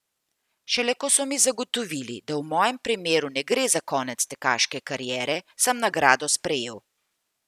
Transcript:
Šele ko so mi zagotovili, da v mojem primeru ne gre za konec tekaške kariere, sem nagrado sprejel.